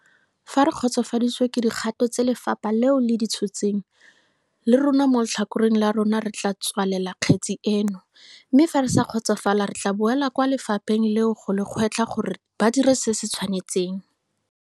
Fa re kgotsofaditswe ke dikgato tse lefapha leo le di tshotseng, le rona mo letlhakoreng la rona re tla tswalela kgetse eno, mme fa re sa kgotsofala re tla boela kwa lefapheng leo go le gwetlha gore ba dire se se tshwanetseng.